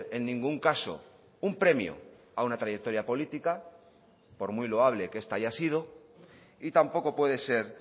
en ningún caso un premio a una trayectoria política por muy loable que esta haya sido y tampoco puede ser